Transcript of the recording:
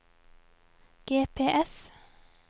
GPS